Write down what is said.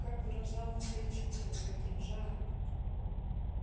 как выражал он свои чувства с каким жаром